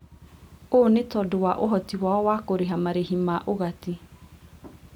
Ũũ nĩ tondũ wa ũhoti wao wa kũrĩha marĩhi ma ũgati